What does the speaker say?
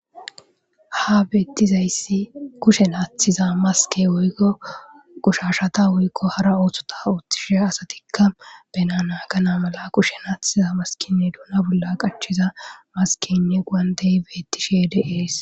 Ha betizayisi kushen atiza maske woyiko qoshashata otishen woyiko hara osotha otishe asati bana naganas kushen atiza maskenne duna bolla qachida maskenne gonte betishe dee's